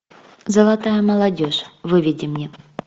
золотая молодежь выведи мне